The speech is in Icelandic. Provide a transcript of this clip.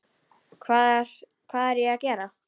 Hvað er ég að gera?